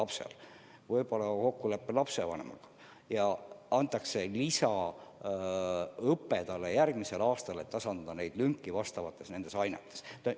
Ja võib-olla kokkuleppel lapse ja lapsevanemaga antakse lapsele võimalus saada järgmisel aastal lisaõpet, et tasandada lünki teatud ainetes.